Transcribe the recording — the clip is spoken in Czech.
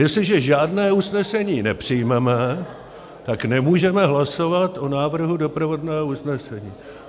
Jestliže žádné usnesení nepřijmeme, tak nemůžeme hlasovat o návrhu doprovodného usnesení.